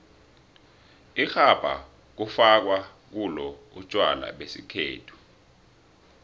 irhabha kufakwa kulo utjwala besikhethu